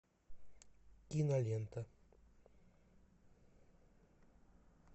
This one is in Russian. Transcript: кинолента